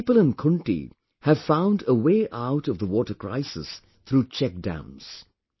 People in Khunti have found a way out of the water crisis through check dams